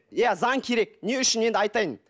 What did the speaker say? иә заң керек не үшін енді айтайын